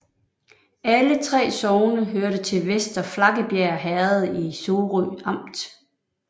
Alle 3 sogne hørte til Vester Flakkebjerg Herred i Sorø Amt